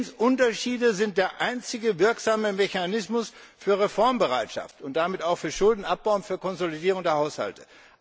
Zinsunterschiede sind der einzige wirksame Mechanismus für Reformbereitschaft und damit auch für Schuldenabbau und für Konsolidierung der Haushalte.